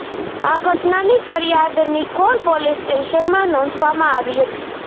આ ઘટનાની ફરિયાદ નિકોલ પોલીસ સ્ટેશનમાં નોંધવામાં આવી હતી